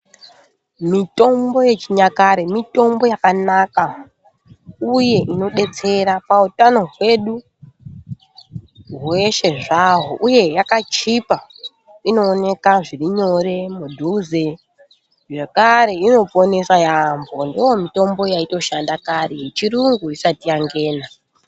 Mitombo yechinyakare mitombo yakanaka uye inodetsera pautano hwedu hweshe zvahwo uye yakachipa, inoonekwa zviri nyore mudhuze, zvakare inoponesa yambo ndiyo mitombo yaitoshanda kare yechirungu isati yangeni.